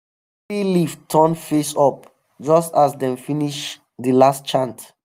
tree leaf turn face up just as dem finish the last chant.